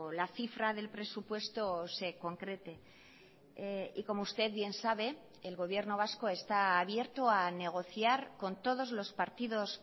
la cifra del presupuesto se concrete y como usted bien sabe el gobierno vasco está abierto a negociar con todos los partidos